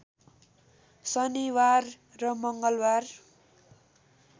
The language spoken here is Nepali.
शनिबार र मङ्गलबार